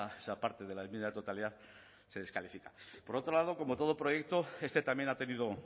esa parte de la enmienda de totalidad se descalifica por otro lado como todo proyecto este también ha tenido